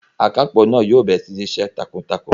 Akápò náà yóò bẹ̀rẹ̀ sí ní ṣíṣe takuntakun